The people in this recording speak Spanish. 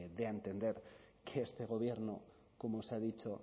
dé a entender que este gobierno como se ha dicho